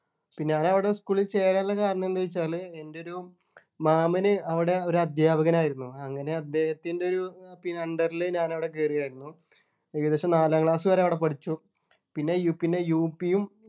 പിന്നെ ഞാൻ അവിടെ school ൽ ചേരാനുള്ള കാരണം എന്താ ചോദിചാല് എൻ്റെ ഒരു മാമന് അവിടെ ഒരു അധ്യാപകനായിരുന്നു അങ്ങനെ അദ്ദേഹത്തിൻ്റെ ഒരു ആ പി Under ൽ ഞാൻ അവിടെ കേറുവായിരുന്നു ഏകദേശം നാലാം class വരെ അവിടെ പഠിച്ചു പിന്നെ പിന്നെ UP യും